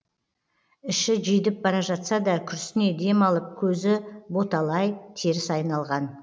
іші жидіп бара жатса да күрсіне дем алып көзі боталый теріс айналған